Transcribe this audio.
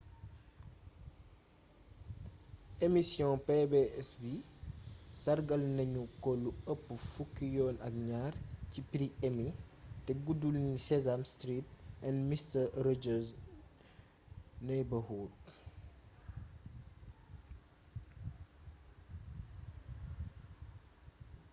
emission pbs bi sargal nañu ko lu ëpp fukki yoon ak ñaar ci prix emmy te guddul ni sesame street and mister rogers neighborhood